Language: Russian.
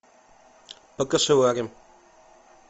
покашеварим